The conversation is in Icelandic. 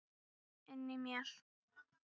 Inni í mér.